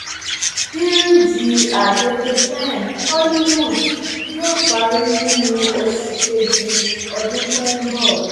bíríìjì àgègèpen hollywood yóò parí nínú oṣù kejì ọdún tó ń bọ